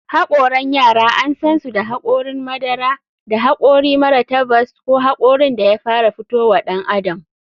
Hokaran yara an sansu da hakorin madara, da hakori mara tabas ko hakorin da ya fara fito wa ɗan adam.